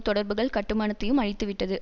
தொடர்புகள் கட்டுமானத்தையும் அழித்துவிட்டது